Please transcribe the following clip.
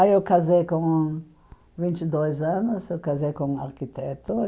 Aí eu casei com... vinte e dois anos, eu casei com um arquiteto.